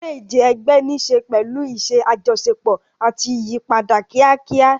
Eré ìje ẹgbẹ́ ní í ṣe pẹ̀lú iṣẹ́ àjọṣepọ̀ àti ìyípadà kíákíá.